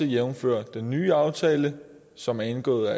jævnfør også den nye aftale som er indgået